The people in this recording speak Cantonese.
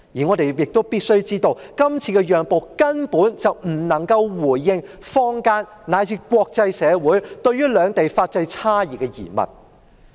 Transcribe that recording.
我們必須知道，這次讓步根本不能回應坊間以至國際社會對於兩地法制差異的疑問。